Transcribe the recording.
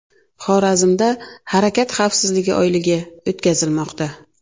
Xorazmda harakat xavfsizligi oyligi o‘tkazilmoqda .